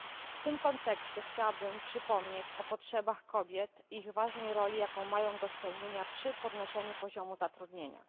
W tym kontekście chciałabym przypomnieć o potrzebach kobiet oraz ważnej roli, jaką mają do spełnienia przy podnoszeniu poziomu zatrudnienia.